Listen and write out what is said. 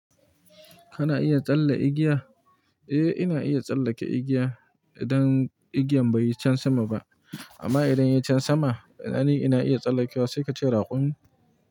Kana iya tsalle igiya? Eh, ina iya tsallake igiya idan igiyan bai yi can sama ba. Amma idan ya yi can sama, ina ni ina iya tsallakewa sai ka ce raƙumi.